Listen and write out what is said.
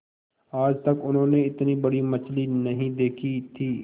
आज तक उन्होंने इतनी बड़ी मछली नहीं देखी थी